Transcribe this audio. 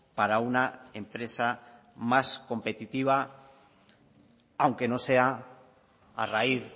para una empresa más competitiva aunque no sea a raíz